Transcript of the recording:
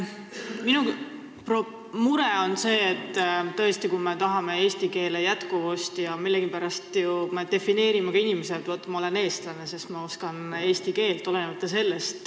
Minu mure on see, et me tahame tõesti eesti keele jätkuvust säilitada ning millegipärast me defineerime ennast ka nii: ma olen eestlane, sest ma oskan eesti keelt.